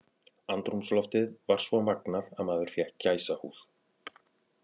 Andrúmsloftið var svo magnað að maður fékk gæsahúð.